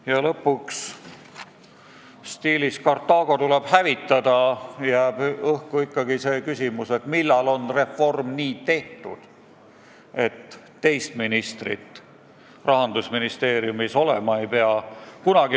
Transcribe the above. Ja lõpuks, stiilis "Kartaago tuleb hävitada" jääb õhku ikkagi küsimus, millal on reform tehtud, nii et teist ministrit Rahandusministeeriumis olema ei pea.